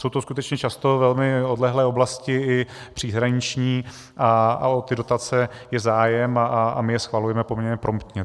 Jsou to skutečně často velmi odlehlé oblasti, i příhraniční, a o ty dotace je zájem a my je schvalujeme poměrně promptně.